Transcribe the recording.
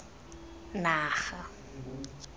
naga